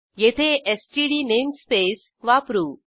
येथे STD namespace वापरू